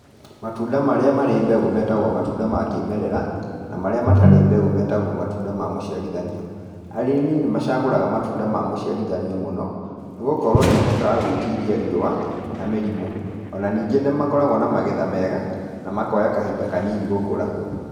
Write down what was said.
Matunda marĩa marĩ mbegũ metagwo matunda ma kĩmerera, na marĩa matarĩ mbegũ metagwo matunda ma mũciarithanio, arĩmi nĩ macagũraga matunda ma mũciarithanio mũno, nĩ gũkorwo nĩ mahotaga gwĩtiria riũa, na mĩrimũ, o na ningĩ nĩ makoragwo na magetha mega, na makoya kahinda kanini gũkũra.